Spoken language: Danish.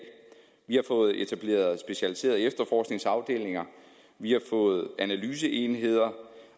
vi har fået etableret specialiserede efterforskningsafdelinger vi har fået analyseenheder